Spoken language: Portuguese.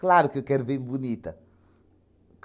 Claro que eu quero vim bonita.